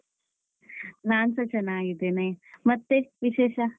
ನಾನ್ಸ ಚೆನ್ನಾಗಿದ್ದೇನೆ ಮತ್ತೆ ವಿಶೇಷ?